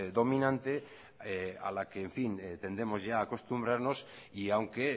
dominante a la que tendremos ya que acostumbrarnos y aunque